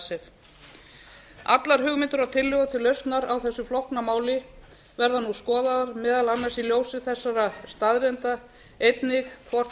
icesave allar hugmyndir og tillögur til lausnar á þessu flókna máli verða nú skoðaðar meðal annars í ljósi þessara staðreynda einnig hvort